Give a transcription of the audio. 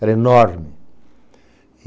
Era enorme.